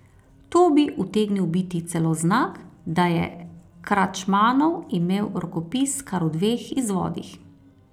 To bi utegnil biti celo znak, da je Kračmanov imel rokopis kar v dveh izvodih.